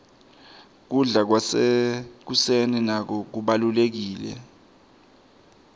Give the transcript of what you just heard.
kubla kwasekuseni nako kubalurekile